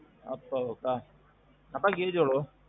அப்பாவுக்கா? அப்பாக்கு age எவ்வளோ?